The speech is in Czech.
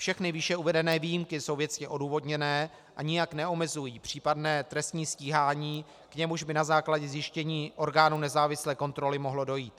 Všechny výše uvedené výjimky jsou věcně odůvodněné a nijak neomezují případné trestní stíhání, k němuž by na základě zjištění orgánů nezávislé kontroly mohlo dojít.